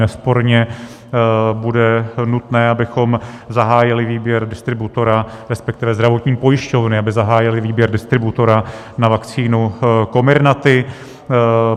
Nesporně bude nutné, abychom zahájili výběr distributora, respektive zdravotní pojišťovny aby zahájily výběr distributora na vakcínu Comirnaty.